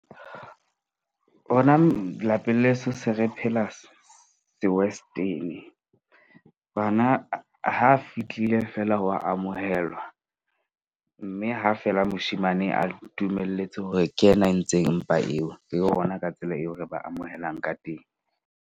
Hona lapeng leso se re phela se Western. Ngwana ha a fihlile fela wa amohelwa. Mme ha feela moshemane a ntumelletse hore ke yena a entseng mpa eo, le yona ka tsela eo re ba amohelang ka teng.